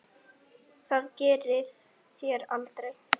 Það gerið þér aldrei.